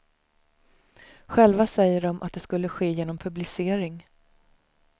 Själva säger de att det skulle ske genom publicering.